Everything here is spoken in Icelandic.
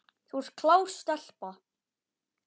Þú ert klár stelpa.